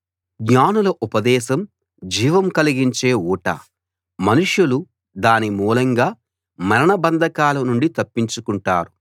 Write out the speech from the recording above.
జ్ఞానుల ఉపదేశం జీవం కలిగించే ఊట మనుషులు దాని మూలంగా మరణ బంధకాల నుండి తప్పించుకుంటారు